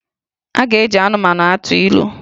A ga-eji anụmanụ atụ ilu